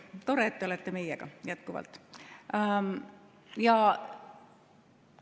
Tore, et te olete jätkuvalt meiega.